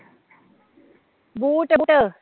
boot